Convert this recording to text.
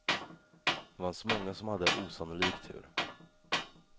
Det fanns många som hade osannolik tur.